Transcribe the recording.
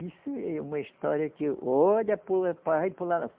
Isso é uma história que olha